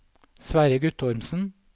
Sverre Guttormsen